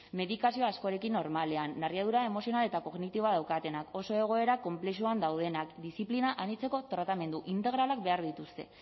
medikazio askorekin normalean narriadura emozional eta kognitiboa daukatenak oso egoera konplexuan daudenak diziplina anitzeko tratamendu integralak behar dituzte